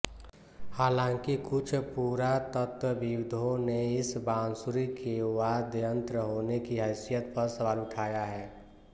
हालांकि कुछ पुरातत्वविदों ने इस बांसुरी के वाद्ययंत्र होने की हैसियत पर सवाल उठाया है